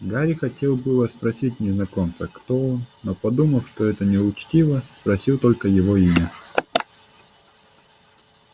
гарри хотел было спросить незнакомца кто он но подумав что это неучтиво спросил только его имя